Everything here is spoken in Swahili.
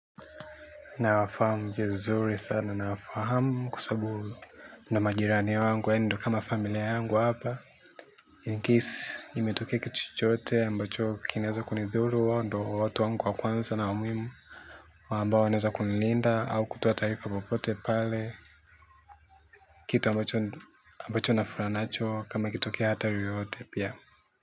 Nafahamu vizuri sana nafahamu sababu nina majirani wangu yani ndio kama familia yangu hapa incse imetokea kitu chochote ambacho kinaweza kunidhuru hao ndo watu wangu wa kwanza na wa muimu ambao wanaeza kunilinda au kutoa taarifa popote pale. Kitu ambacho na furaha nacho kama kituke hatari yoyote pia.